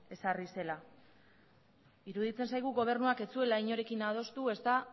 ezarri zela iruditzen zaigu gobernuak ez zuela inorekin adostu ezta